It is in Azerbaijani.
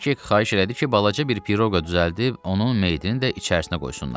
Kviçek xahiş elədi ki, balaca bir piroqa düzəldib onun meytini də içərisinə qoysunlar.